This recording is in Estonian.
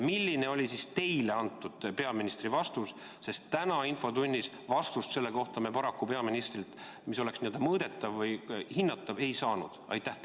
Milline oli teile antud peaministri vastus, sest täna infotunnis me paraku selle kohta peaministrilt vastust, mis oleks mõõdetav või hinnatav, ei saanud?